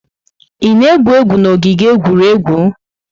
Ị na-egwu egwu n'ogige egwuregwu?